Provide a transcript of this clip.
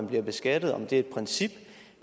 bliver beskattet og om det er et princip